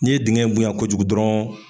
N'i ye dingɛ in bonya kojugu dɔrɔn.